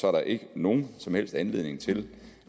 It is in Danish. er der ikke nogen som helst anledning til